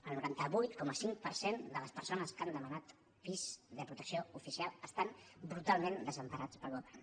el noranta vuit coma cinc per cent de les persones que han demanat pis de protecció oficial estan brutalment desemparades pel govern